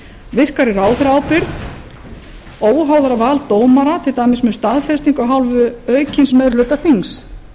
virkari ráðherraábyrgð óháðara vald dómara til dæmis með staðfestingu af hálfu aukins meiri hluta þings